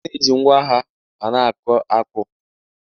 A na-eji ngwa agha a na-akụ akpu